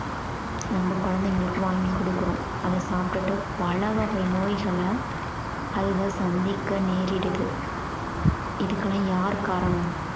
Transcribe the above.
நம்ம குழந்தைகளுக்கு வாங்கி குடுக்கிறோம் அத சாப்பிட்டு பலவகை நோய்களை அதுங்க சந்திக்க நேரிடுது இதுக்கெல்லாம் யாரு காரணம்